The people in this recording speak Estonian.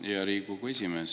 Aitäh, hea Riigikogu esimees!